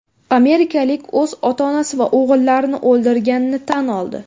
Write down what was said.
Amerikalik o‘z ota-onasi va o‘g‘illarini o‘ldirganini tan oldi.